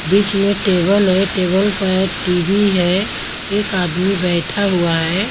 बीच में टेबल है टेबल पे टी_वी है एक आदमी बैठा हुआ है।